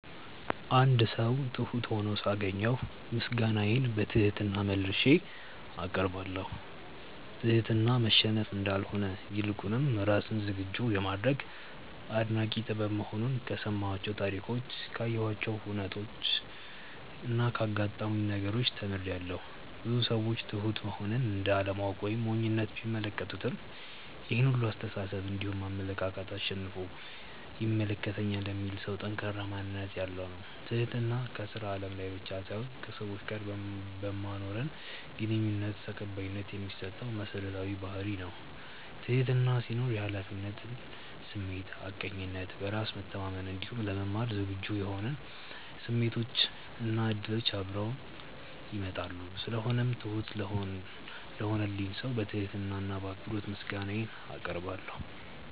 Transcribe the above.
አንድ ሰው ትሁት ሁኖ ሳገኘው ምስጋናዬን በትህትና መልሼ አቀርባለሁ። ትህትና መሸነፍ እንዳልሆነ ይልቁንም ራስን ዝግጁ የማድረግ አስደናቂ ጥበብ መሆኑን ከሰማኋቸው ታሪኮች ካየኋቸው ሁነቾች እና ካጋጠሙኝ ነገሮች ተምሬያለው። ብዙ ሰዎች ትሁት መሆንን እንደ አለማወቅ ወይም ሞኝነት ቢመለከቱትም ይሄን ሁላ አስተሳሰብ እንዲሁም አመለካከት አሸንፎ ይመለከተኛል የሚል ሰው ጠንካራ ማንነት ያለው ነው። ትህትና ከስራ አለም ላይ ብቻ ሳይሆን ከሰዎች ጋር በማኖረን ግንኙነት ተቀባይነት የሚያሰጠን መሰረታዊ ባህርይ ነው። ትህትና ሲኖር የሀላፊነት ስሜት፣ ሀቀኝነት፣ በራስ መተማመን እንዲሁም ለመማር ዝግጁ የመሆን ስሜቶች እና እድሎች አብረውት ይመጣሉ። ስለሆነው ትሁት ለሆነልኝ ሰው በትህትና እና በአክብሮት ምስጋናዬን አቀርባለሁ።